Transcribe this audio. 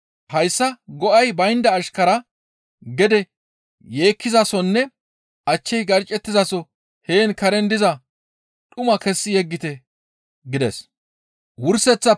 Hayssa go7ay baynda ashkaraa gede yeekkizasonne achchey garccettizaso heen karen diza dhuman kessi yeggite› gides.